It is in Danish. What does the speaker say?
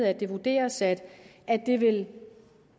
at det vurderes at det vil